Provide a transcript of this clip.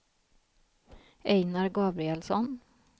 Ejnar Gabrielsson